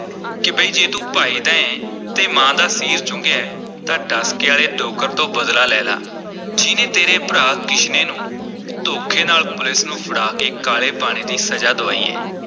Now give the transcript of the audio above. ਕਿ ਬਈ ਜੇ ਤੂੰ ਭਾਈ ਦਾ ਐਂ ਤੇ ਮਾਂ ਦਾ ਸੀਰ ਚੁੰਘਿਆ ਹੈ ਤਾਂ ਡਸਕੇ ਆਲੇ ਡੋਗਰ ਤੋਂ ਬਦਲਾ ਲੈ ਲਾ, ਜਿਹਨੇ ਤੇਰੇ ਭਰਾ ਕਿਸ਼ਨੇ ਨੂੰ ਧੋਖੇ ਨਾਲ ਪੁਲੀਸ ਨੂੰ ਫੜਾ ਕੇ ਕਾਲੇ ਪਾਣੀ ਦੀ ਸਜ਼ਾ ਦੁਆਈ ਹੈ।